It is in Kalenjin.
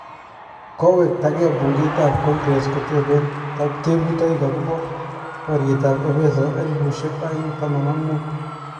kowektagee bungeit ap kongres ketepen teputaig akopa paryettap ebeeso elipusiek aeng taman ak muut